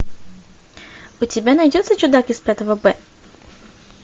у тебя найдется чудак из пятого б